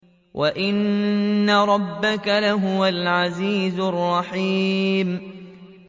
وَإِنَّ رَبَّكَ لَهُوَ الْعَزِيزُ الرَّحِيمُ